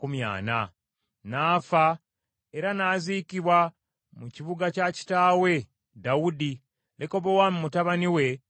N’afa era n’aziikibwa mu kibuga kya kitaawe Dawudi, Lekobowaamu mutabani we n’amusikira.